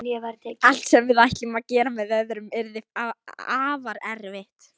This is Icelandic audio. Allt sem við ætlum að gera með öðrum yrði afar erfitt.